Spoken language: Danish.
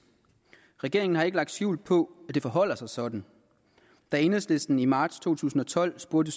regeringen har ikke lagt skjul på det forholder sig sådan da enhedslisten i marts to tusind og tolv spurgte